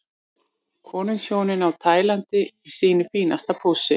Konungshjónin á Tælandi í sínu fínasta pússi.